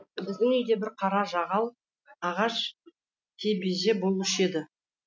біздің үйде бір қара жағал ағаш кебеже болушы еді